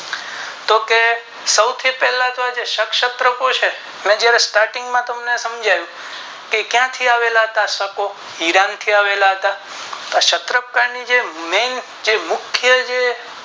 તો કે સૌથી પહેલા ક્ષત ક્ષત્રો છે સમજાવ્યું તે ક્યાંથી આવેલા હતા શકો એરણ થી આવેલા હતા શાત્રોકો ની મેન જે મુખ્ય